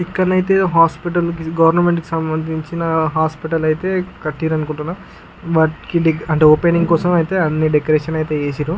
ఇక్కడ అయతె hospital government కి సమందించిన హాస్పిటల్ అయితే కట్టిన్రు అనుకుంటున వాట్కి అంటే ఓపెనింగ్ కోసం అయతె అన్ని డెకరేషన్ అయితే చేసిన్రు.